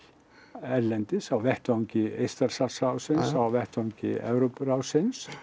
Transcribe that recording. erlendis á vettvangi Eystrasaltsráðsins á vettvangi Evrópuráðsins